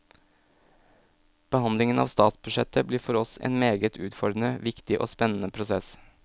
Behandlingen av statsbudsjettet blir for oss en meget utfordrende, viktig og spennende prosess.